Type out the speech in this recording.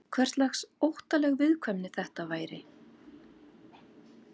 Hverslags óttaleg viðkvæmni þetta væri?